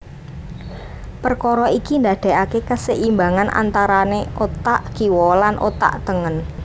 Perkara iki ndadekake keseimbangan antarane otak kiwa lan otak tengen